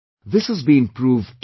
This has been proved too